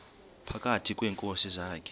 phakathi kweenkosi zakhe